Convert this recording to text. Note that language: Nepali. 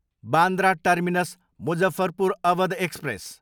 Bandra terminus, Muzaffarpur Awadh express